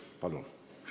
Palun!